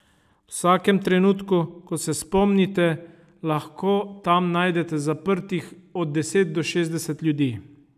V vsakem trenutku, ko se spomnite, lahko tam najdete zaprtih od deset do šestdeset ljudi.